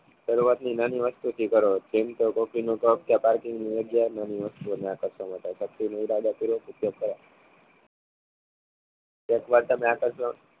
શરૂઆતની નાની વસ્તુ થી કરો જેમ કે કોફી નો કપ એક વાર તમે આકર્ષણ